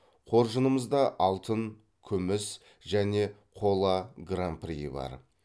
қоржынымызда алтын күміс және қола гран приі бар